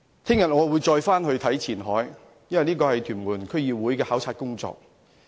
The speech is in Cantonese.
我明天會再往前海，因為這是屯門區議會的考察工作。